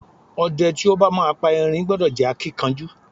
O̩de̩ tí ó bá máa pa erin gbo̩do̩ jé̩ akínkanjú.